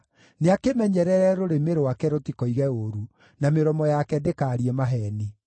nĩakĩmenyerere rũrĩmĩ rwake rũtikoige ũũru, na mĩromo yake ndĩkaarie maheeni.